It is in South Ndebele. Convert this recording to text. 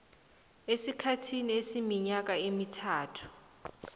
esikhathini esiminyaka emithathu